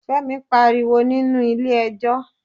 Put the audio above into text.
Fẹ́mi pariwo nínú ilé ẹjọ́